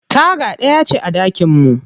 Taga ɗaya ce a ɗakin mu.